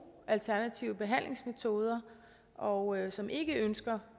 alternative behandlingsmetoder og som ikke ønsker